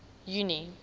junie